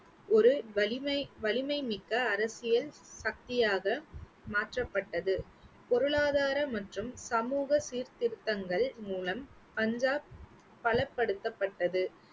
ஒரு வலிமை வலிமை மிக்க அரசியல் சக்தியாக மாற்றப்பட்டது. பொருளாதார மற்றும் சமூக சீர்திருத்தங்கள் மூலம் பஞ்சாப் பலப்படுத்தப்பட்டது.